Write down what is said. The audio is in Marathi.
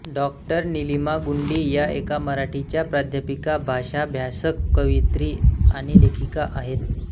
डॉ नीलिमा गुंडी या एक मराठीच्या प्राध्यापिका भाषाभ्यासक कवयित्री आणि लेखिका आहेत